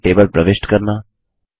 writer में table प्रविष्ट करना